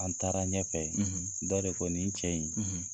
An taara ɲɛfɛ dɔ de ko nin cɛ in